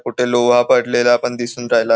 कुठे लोहा पडलेला पण दिसून राहिला.